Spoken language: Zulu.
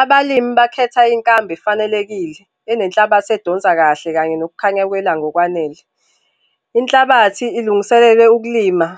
Abalimi bakhetha inkambo efanelekile, enenhlabathi edonsa kahle kanye nokukhanya kwelanga okwanele. Inhlabathi ilungiselele ukulima,